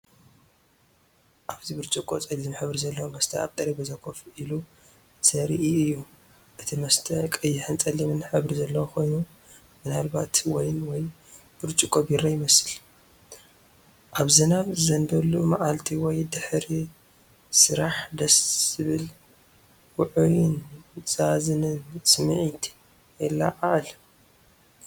ኣብዚ ብርጭቆ ጸሊም ሕብሪ ዘለዎ መስተ ኣብ ጠረጴዛ ኮፍ ኢሉ ዘርኢ እዩ። እቲ መስተ ቀይሕን ጸሊምን ሕብሪ ዘለዎ ኮይኑ፡ምናልባት ዋይን ወይ ብርጭቆ ቢራ ይመስል። ኣብ ዝናብ ዝዘንበሉ መዓልቲ ወይ ድሕሪ ስራሕ ደስ ዘብል ውዑይን ዘዛንን ስምዒት የለዓዕል።